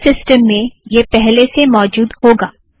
आपके सिस्टम में यह पहले से मौजुद होगा